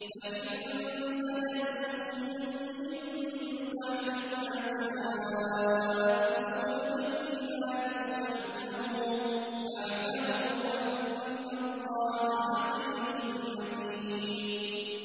فَإِن زَلَلْتُم مِّن بَعْدِ مَا جَاءَتْكُمُ الْبَيِّنَاتُ فَاعْلَمُوا أَنَّ اللَّهَ عَزِيزٌ حَكِيمٌ